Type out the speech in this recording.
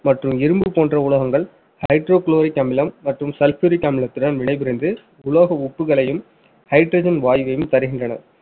மற்றும் இரும்பு போன்ற உலோகங்கள் hydrochloric அமிலம் மற்றும் sulfuric அமிலத்துடன் வினைபுரிந்து உலோக உப்புகளையும், hydrogen வாயுவையும் தருகின்றன